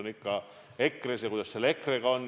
Asi on ikka EKRE-s, selles, kuidas EKRE-ga on.